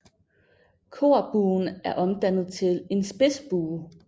Korbuen er omdannet til en spidsbue